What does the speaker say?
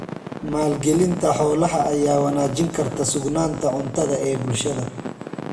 Maalgelinta xoolaha ayaa wanaajin karta sugnaanta cuntada ee bulshada.